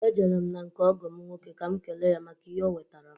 E jere m na nke ọgọ m nwoke ka m kelee ya maka ihe o wetaara m.